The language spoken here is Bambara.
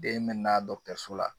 Den mɛna dɔkitɛriso la